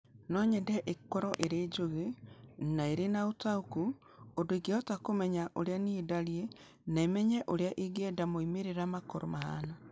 No nyende ĩkorũo ĩrĩ njũgĩ na ĩrĩ na ũtaũku ũndũ ĩngĩhota kũmenya ũrĩa niĩ ndariĩ na ĩmenye ũrĩa ingĩenda moimĩrĩro makorũo mahaana.